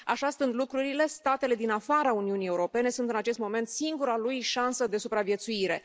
Așa stând lucrurile, statele din afara Uniunii Europene sunt, în acest moment, singura lui șansă de supraviețuire.